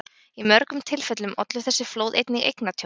Í mörgum tilfellum ollu þessi flóð einnig eignatjóni.